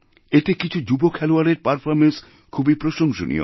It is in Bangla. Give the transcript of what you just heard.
এতে কিছু যুব খেলোয়াড়ের পারফর্ম্যান্স খুবই প্রশংসনীয়